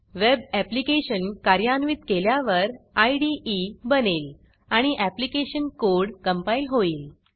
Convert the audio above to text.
web application कार्यान्वित केल्यावर इदे बनेल आणि ऍप्लीकेशन कोड कंपाईल होईल